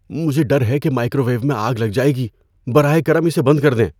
مجھے ڈر ہے کہ مائیکروویو میں آگ لگ جائے گی۔ براہ کرم اسے بند کر دیں۔